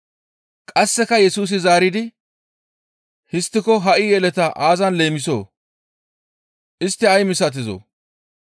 Qasseka Yesusi zaaridi, «Histtiko ha7i yeletaa aazan leemisoo? Istti ay misatizoo?